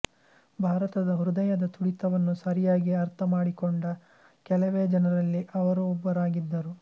ಭಾರತದ ಹೃದಯದ ತುಡಿತವನ್ನು ಸರಿಯಾಗಿ ಅರ್ಥಮಾಡಿಕೊಂಡ ಕೆಲವೇ ಜನರಲ್ಲಿ ಅವರೂ ಒಬ್ಬರಾಗಿದ್ದರು